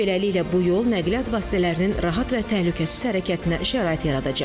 Beləliklə, bu yol nəqliyyat vasitələrinin rahat və təhlükəsiz hərəkətinə şərait yaradacaq.